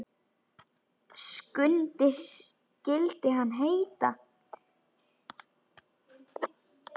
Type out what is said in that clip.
Skundi skyldi hann heita.